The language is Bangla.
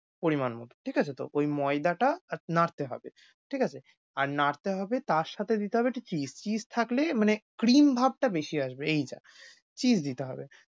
পরিমাণমত ঠিক আছে? তো ঐ ময়দাটা নাড়তে হবে, ঠিক আছে? আর নাড়তে হবে তার সাথে দিতে হবে একটু cheese । cheese থাকলে মানে cream ভাবটা বেশি আসবে এই যা। cheese দিতে হবে।